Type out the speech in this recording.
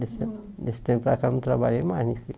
Desse desse tempo para cá, eu não trabalhei mais na